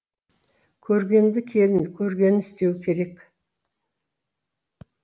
көргенді келін көргенін істеуі керек